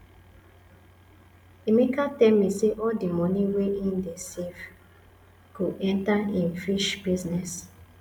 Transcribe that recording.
emeka tell me say all the money wey he dey save go enter im fish business